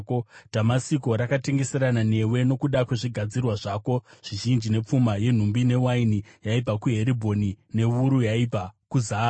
“ ‘Dhamasiko, rakatengeserana newe nokuda kwezvigadzirwa zvako zvizhinji nepfuma yenhumbi newaini yaibva kuHeribhoni newuru yaibva kuZahari.